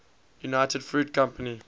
united fruit company